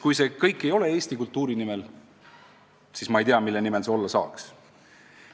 Kui see kõik ei sünni Eesti kultuuri nimel, siis ma ei tea, mille nimel see võiks sündida.